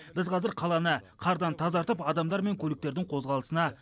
біз қазір қаланы қардан тазартып адамдар мен көліктердің қозғалысына